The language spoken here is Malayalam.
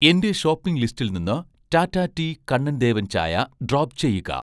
എന്‍റെ ഷോപ്പിംഗ് ലിസ്റ്റിൽ നിന്ന് ടാറ്റ ടീ കണ്ണൻ ദേവൻ ചായ ഡ്രോപ്പ് ചെയ്യുക